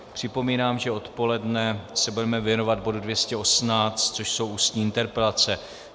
Připomínám, že odpoledne se budeme věnovat bodu 218, což jsou ústní interpelace.